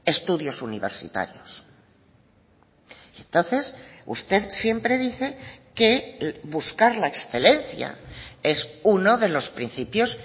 estudios universitarios entonces usted siempre dice que buscar la excelencia es uno de los principios